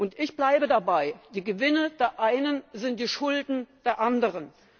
Und ich bleibe dabei Die Gewinne der einen sind die Schulden der anderen!